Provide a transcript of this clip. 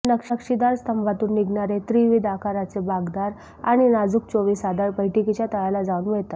या नक्षीदार स्तंभातून निघणारे त्रिविध आकाराचे बाकदार आणि नाजूक चोवीस आधार बैठकीच्या तळाला जाऊन मिळतात